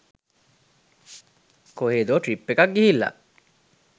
කොහේදෝ trip එකක් ගිහිල්ල.